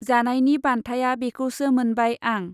जानायनि बान्थाया बेखौसो मोनबाय आं!